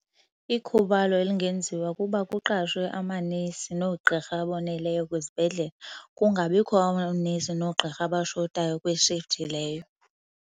Ikhubalo elingenziwa kukuba kuqashwe amanesi noogqirha aboneleyo kwizibhedlele. Kungabikho oonesi noogqirha abashotayo kwi-shift leyo.